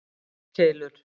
eldkeilur